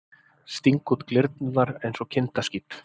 Sting út glyrnurnar einsog kindaskít.